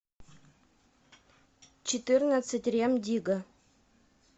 четырнадцать рем дигга